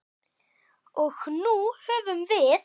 Og nú höfum við